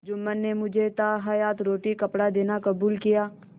जुम्मन ने मुझे ताहयात रोटीकपड़ा देना कबूल किया